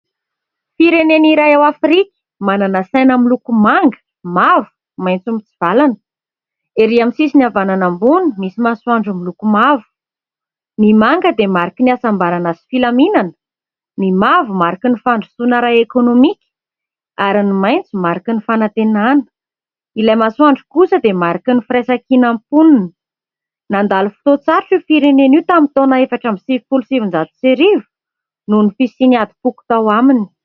Firenena iray ao Afrika, manana saina miloko : manga, mavo, maitso mitsivalana ; erỳ amin'ny sisiny havanana ambony : misy masoandro miloko mavo. Ny manga dia : mariky ny hasambarana sy filaminana, ny mavo : mariky ny fandrosoana ara-ekônômika, ary ny maitso : mariky ny fanantenana ; ilay masoandro kosa dia mariky ny firaisan-kinan'ny mponina. Nandalo fotoan-tsarotra io firenena io tamin'ny taona efatra amby sivifolo sy sivinjato sy arivo noho ny fisian'ny adim-poko tao aminy.